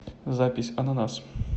запись ананас